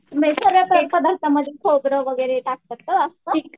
पदार्थामध्ये खोबरं वगैरे टाकतात का?